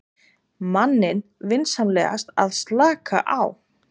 manninn vinsamlegast að slaka á.